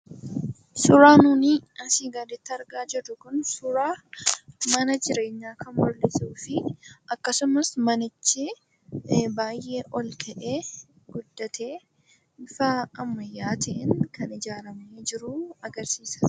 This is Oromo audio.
Suuraa nuunii asii gaditti argaa jirru kunii suuraa mana jireenyaa kan mul'isuufi akkasumas manichii baayyee ol ka'ee guddatee bifa ammayyaatiin kan ijaarramee jiruu agarsiisa.